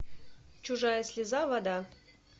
чужая слеза вода